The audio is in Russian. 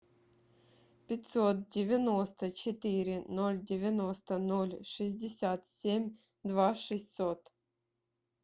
пятьсот девяносто четыре ноль девяносто ноль шестьдесят семь два шестьсот